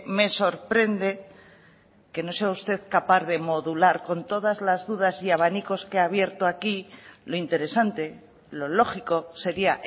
me sorprende que no sea usted capaz de modular con todas las dudas y abanicos que ha abierto aquí lo interesante lo lógico sería